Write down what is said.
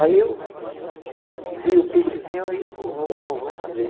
Aí eu vi o pifezinho e eu vou vou vou vou fazer.